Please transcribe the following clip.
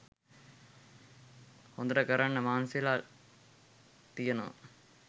හොදට කරන්න මහන්සිවෙලා තියෙනව.